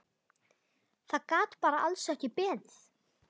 Það gat bara alls ekki beðið.